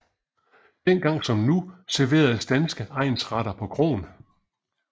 Dengang som nu serveres danske egnsretter på kroen